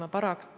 Aitäh!